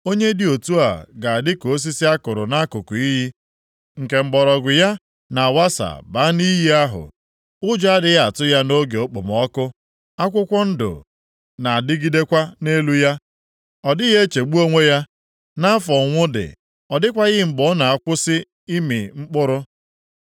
Onye dị otu a ga-adị ka osisi a kụrụ nʼakụkụ iyi, nke mgbọrọgwụ ya na-awasa banye nʼiyi ahụ. Ụjọ adịghị atụ ya nʼoge okpomọkụ, akwụkwọ ndụ na-adịgidekwa nʼelu ya. Ọ dịghị echegbu onwe ya nʼafọ ụnwụ dị. Ọ dịkwaghị mgbe ọ na-akwụsị ịmị mkpụrụ.”